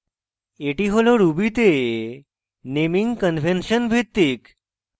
এটি হল ruby তে naming convention naming convention ভিত্তিক